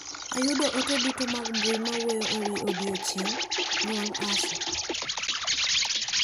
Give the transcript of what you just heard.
Ayudo ote duto mag mbui mawuoyo ewi odiochieng' nyuol Asha.